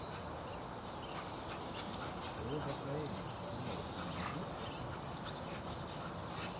роба коэна кино у тебя найдется